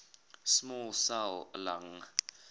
small cell lung